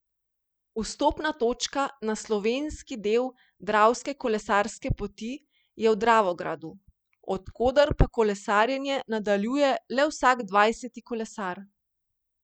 Vstopna točka na slovenski del Dravske kolesarske poti je v Dravogradu, od koder pa kolesarjenje nadaljuje le vsak dvajseti kolesar.